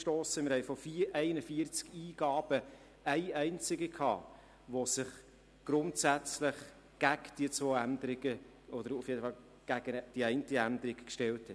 Von 41 Eingaben hatten wir eine einzige, die sich grundsätzlich gegen die zwei Änderungen – oder jedenfalls gegen die eine Änderung – stellte.